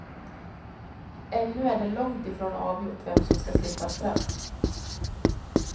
Ännu är det långt ifrån avgjort vem som ska slippa straff.